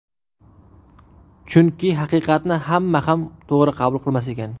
Chunki haqiqatni hamma ham to‘g‘ri qabul qilmas ekan.